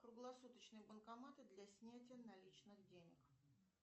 круглосуточные банкоматы для снятия наличных денег